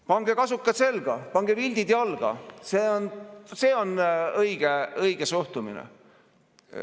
Pange kasukad selga, pange vildid jalga – see on õige suhtumine!